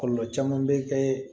Kɔlɔlɔ caman bɛ kɛ